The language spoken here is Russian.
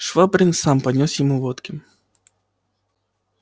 швабрин сам поднёс ему водки